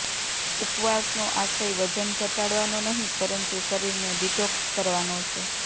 ઉપવાસનો આશય વજન ઘટાડવાનો નહિ પરંતુ શરીરને ડિટોક્સ કરવાનો છે